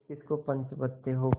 किसकिस को पंच बदते हो